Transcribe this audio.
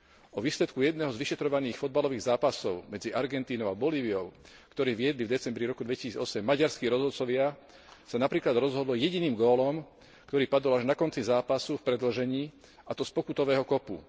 O výsledku jedného z vyšetrovaných futbalových zápasov medzi Argentínou a Bolíviou, ktoré viedli v roku 2008 maďarskí rozhodcovia, sa napríklad rozhodlo jediným gólom, ktorý padol až na konci zápasu v predĺžení, a to z pokutového kopu.